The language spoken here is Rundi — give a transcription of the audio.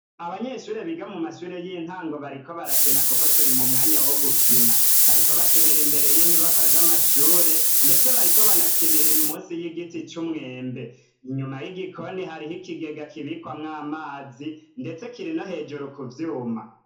Abanyeshure biga mu mashure y'intango bariko barakina kuko turi mu mwanya wo gukina, bariko bakinira imbere y'inyubakwa y'amashure, ndetse bariko banakinira musi y'igiti c'umwembe, inyuma y'igikoni hariho ikigega kibikwamwo amazi, ndetse kiri no hejuru ku vyuma.